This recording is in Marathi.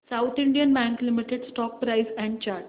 south Indian Bank Limited stock price and chart